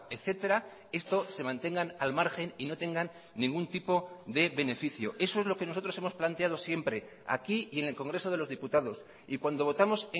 etcétera estos se mantengan al margen y no tengan ningún tipo de beneficio eso es lo que nosotros hemos planteado siempre aquí y en el congreso de los diputados y cuando votamos